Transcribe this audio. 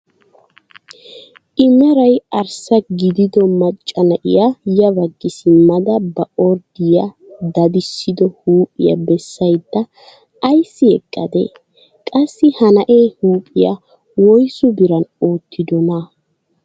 I meray arssa gidido macca na'iyaa ya baggi simmada ba orddiyaa daddisido huuhphpiyaa bessayda ayssi eqqadee? qassi ha na'ee huuphphiyaa woysu biran oottidonaa?